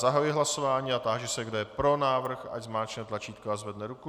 Zahajuji hlasování a táži se, kdo je pro návrh, ať zmáčkne tlačítko a zvedne ruku.